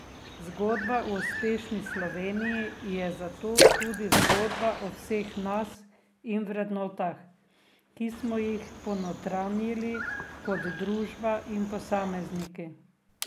Zgodba o Uspešni Sloveniji je zato tudi zgodba o vseh nas in vrednotah, ki smo jih ponotranjili kot družba in posamezniki.